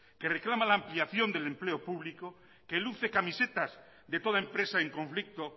que reclama la ampliación del empleo público que luce camisetas de toda empresa en conflicto